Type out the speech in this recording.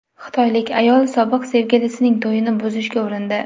Xitoylik ayol sobiq sevgilisining to‘yini buzishga urindi .